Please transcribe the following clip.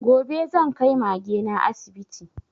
Gobe zan kai Mage na asibiti